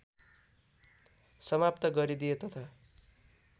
समाप्त गरिदिए तथा